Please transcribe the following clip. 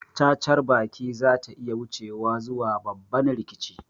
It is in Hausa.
Cacar baki zata iya wucewa zuwa babban rikici